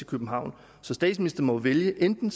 københavn statsministeren må vælge enten